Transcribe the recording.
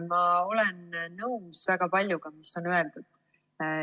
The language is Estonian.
Ma olen nõus väga paljuga, mis on siin öeldud.